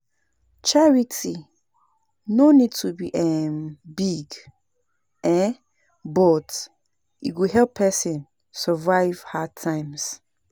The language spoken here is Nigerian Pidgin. Charity no need to be um big, um but e go help person survive hard times.